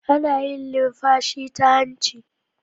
Ana yin linfashi ta hanci